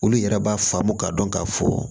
Olu yɛrɛ b'a faamu k'a dɔn k'a fɔ